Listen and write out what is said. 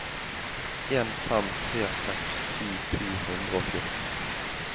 en fem tre seks ti to hundre og fjorten